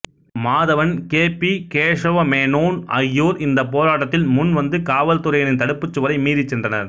Madhavan K P Kesava Menon ஆகியோர் இந்தப் போராட்டத்தில் முன் வந்து காவல்துறையினரின் தடுப்புச் சுவரை மீறிச் சென்றனர்